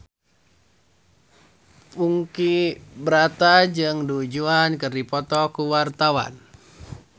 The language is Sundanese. Ponky Brata jeung Du Juan keur dipoto ku wartawan